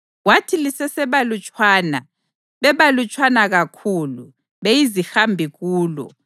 Kwathi lisesebalutshwana, bebalutshwana kakhulu, beyizihambi kulo,